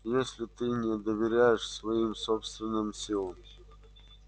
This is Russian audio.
если ты не доверяешь своим собственным силам